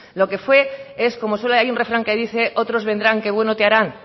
lo que fue es hay un refrán que dice otros vendrán que bueno te harán